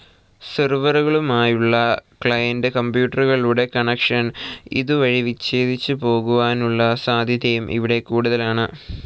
സെർവറുകളുമായുള്ള client കമ്പ്യൂട്ടറുകളുടെ connection ഇതു വഴി വിച്ഛേദിച്ചു പോകുവാനുള്ള സാധ്യതയും ഇവിടെ കൂടുതലാണ്.